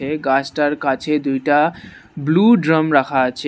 এই গাছটার কাছে দুইটা ব্লু ড্রাম রাখা আছে।